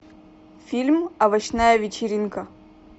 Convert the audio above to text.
фильм овощная вечеринка